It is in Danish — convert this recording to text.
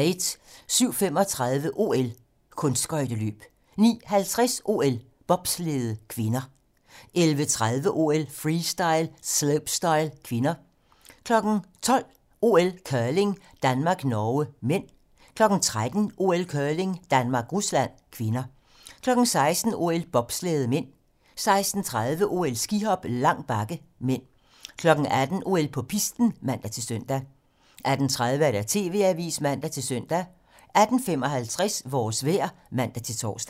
07:35: OL: Kunstskøjteløb 09:50: OL: Bobslæde (k) 11:30: OL: Freestyle - slopestyle (k) 12:00: OL: Curling - Danmark-Norge (m) 13:00: OL: Curling - Danmark-Rusland (k) 16:00: OL: Bobslæde (m) 16:30: OL: Skihop - lang bakke (m) 18:00: OL på pisten (man-søn) 18:30: TV-Avisen (man-søn) 18:55: Vores vejr (man-tor)